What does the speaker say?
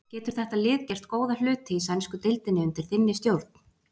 Getur þetta lið gert góða hluti í sænsku deildinni undir þinni stjórn?